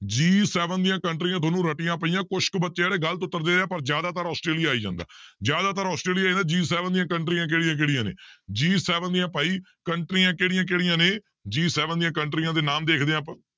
G seven ਦੀਆਂ ਕੰਟਰੀਆਂ ਤੁਹਾਨੂੰ ਰੱਟੀਆਂ ਪਈਆਂ ਕੁਛ ਕੁ ਬੱਚੇ ਆ ਜਿਹੜੇ ਗ਼ਲਤ ਉੱਤਰ ਦੇ ਰਹੇ ਹੈ ਪਰ ਜ਼ਿਆਦਾਤਰ ਆਸਟ੍ਰੇਲੀਆ ਆਈ ਜਾਂਦਾ ਜ਼ਿਆਦਾ ਆਸਟ੍ਰੇਲੀਆ G seven ਦੀਆਂ ਕੰਟਰੀਆਂ ਕਿਹੜੀਆਂ ਕਿਹੜੀਆਂ ਨੇ G seven ਦੀਆਂ ਭਾਈ ਕੰਟਰੀਆਂ ਕਿਹੜੀਆਂ ਕਿਹੜੀਆਂ ਨੇ G seven ਦੀਆਂ ਕੰਟਰੀਆਂ ਦੇ ਨਾਮ ਦੇਖਦੇ ਹਾਂ ਆਪਾਂ